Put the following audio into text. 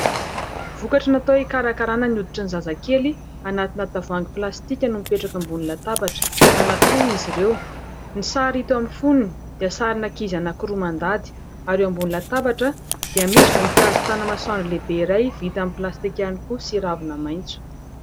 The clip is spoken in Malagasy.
Vokatry natao hikarakarana ny hoditry ny zazakely anatina tavoahangy plastika no mipetraka ambony latabatra, anankiroa izy ireo. Ny sary hita eo amin'ny fonony dia sarin'ankizy anankiroa mandady ary eo ambony latabatra dia misy voninkazo tanamasoandro lehibe iray vita amin'ny plastika ihany koa sy ravina maitso.